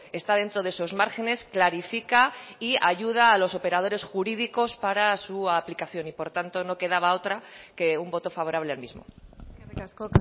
está dentro de esos márgenes clarifica y ayuda a los operadores jurídicos para su aplicación y por tanto no quedaba otra que un voto favorable al mismo eskerrik asko